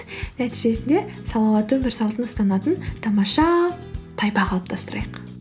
нәтижесінде салауатты өмір салтын ұстанатын тамаша тайпа қалыптастырайық